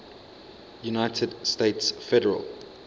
united states federal